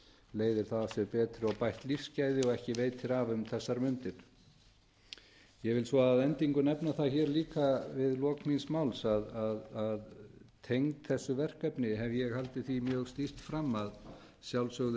leiðir þá af sér betri og bætt lífsgæði og ekki veitir af um þessar mundir ég vil svo að endingu nefna það hér líka við lok míns máls að tengt þessu verkefni hef ég haldið því mjög stíft fram að að sjálfsögðu